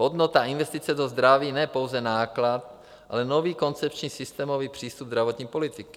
Hodnota investice do zdraví, ne pouze náklad, ale nový koncepční systémový přístup zdravotní politiky.